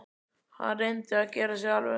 Hann reyndi að gera sig alvarlegan.